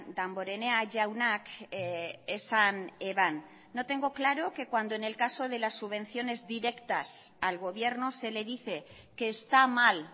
damborenea jaunak esan eban no tengo claro que cuando en el caso de las subvenciones directas al gobierno se le dice que está mal